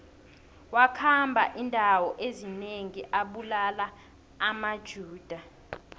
wakhamba indawo ezinengi abulala amajuda